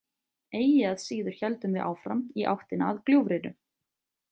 Eigi að síður héldum við áfram í áttina að gljúfrinu.